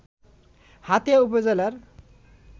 হাতিয়া উপজেলার